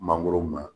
Mangoro ma